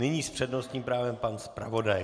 Nyní s přednostním právem pan zpravodaj.